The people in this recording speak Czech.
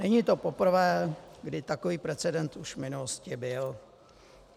Není to poprvé, kdy takový precedent už v minulosti byl.